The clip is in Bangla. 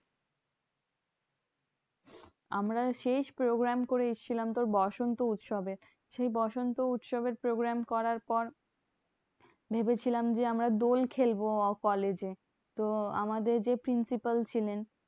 আমরা শেষ program করে এসেছিলাম তোর বসন্ত উৎসবের। সেই বসন্ত উৎসবের program করার পর ভেবেছিলাম যে, আমরা দোল খেলবো কলেজে। তো আমাদের যে principal ছিলেন